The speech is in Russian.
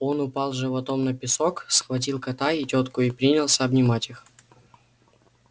он упал животом на песок схватил кота и тётку и принялся обнимать их